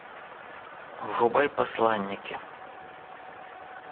врубай посланники